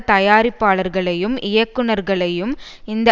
தயாரிப்பாளர்களையும் இயக்குனர்களையும் இந்த